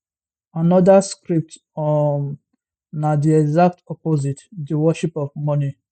anoda script um na di exact opposite di worship of money